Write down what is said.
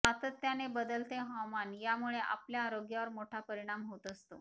सातत्याने बदलते हवामान यामुळे आपल्या आरोग्यावर मोठा परिणाम होत असतो